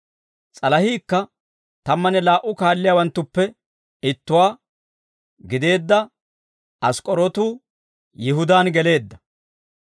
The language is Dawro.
S'alahiikka tammanne laa"u kaalliyaawanttuppe ittuwaa gideedda Ask'k'orootu Yihudaan geleedda.